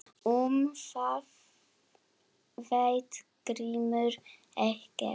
Um það veit Grímur ekkert.